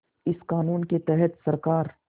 इस क़ानून के तहत सरकार